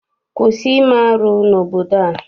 Kwụsị ime arụ n'obodo a!